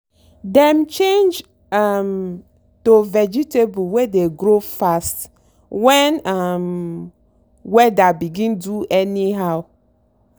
dem change um to vegetables wey dey grow fast when um weather begin do anyhow.